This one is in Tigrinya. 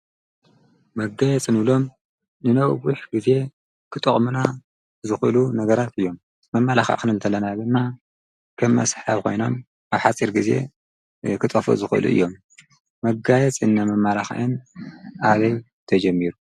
መጋየፂ እንብሎም ንነዊሕ ግዜ ክጠቅሙና ዝክእሉ ነገራት እዮም፡፡ መማላክዒ ክንብል ከለና ድማ ከም መስሓቢ ኮይኖም ኣብ ሓፂር ግዜ ክጠፍኡ ዝክእሉ እዮም፡፡ የጋየፅን መማላክዕን ኣበይ ተጀሚሩ?